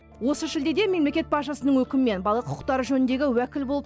осы шілдеде мемлекет басшысының өкімімен бала құқықтары жөніндегі уәкіл болып